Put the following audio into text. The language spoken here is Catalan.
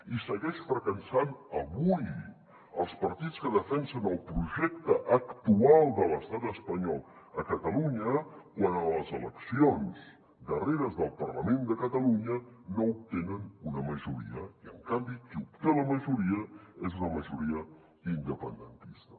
i segueix fracassant avui els partits que defensen el projecte actual de l’estat espanyol a catalunya quan a les eleccions darreres del parlament de catalunya no obtenen una majoria i en canvi qui obté la majoria és una majoria independentista